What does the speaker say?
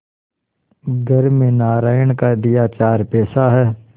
घर में नारायण का दिया चार पैसा है